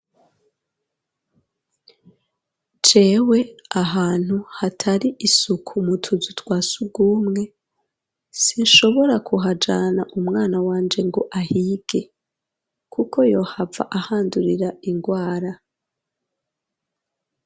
Jewe ahantu hatari isuku umutuzu twa si ugumwe sinshobora kuhajana umwana wanje ngo ahige, kuko yohava ahandurira ingwara.